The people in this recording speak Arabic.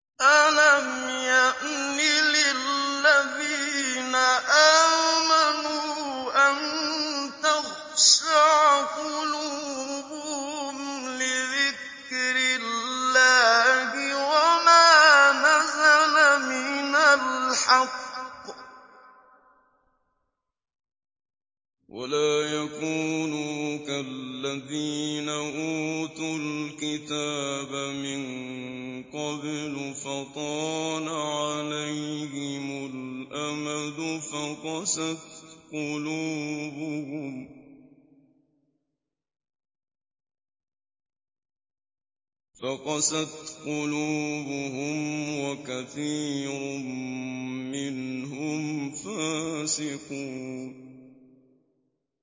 ۞ أَلَمْ يَأْنِ لِلَّذِينَ آمَنُوا أَن تَخْشَعَ قُلُوبُهُمْ لِذِكْرِ اللَّهِ وَمَا نَزَلَ مِنَ الْحَقِّ وَلَا يَكُونُوا كَالَّذِينَ أُوتُوا الْكِتَابَ مِن قَبْلُ فَطَالَ عَلَيْهِمُ الْأَمَدُ فَقَسَتْ قُلُوبُهُمْ ۖ وَكَثِيرٌ مِّنْهُمْ فَاسِقُونَ